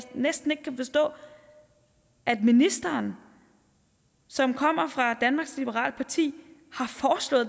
næsten ikke kan forstå at ministeren som kommer fra danmarks liberale parti